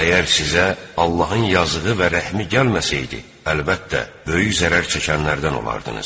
Əgər sizə Allahın yazığı və rəhmi gəlməsaydı, əlbəttə, böyük zərər çəkənlərdən olardınız.